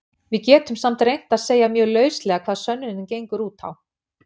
Við getum samt reynt að segja mjög lauslega hvað sönnunin gengur út á.